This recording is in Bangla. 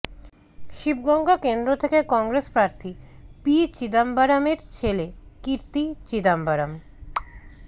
শিবগঙ্গা কেন্দ্র থেকে কংগ্রেস প্রার্থী পি চিদাম্বরমের ছেলে কার্তি চিদাম্বরম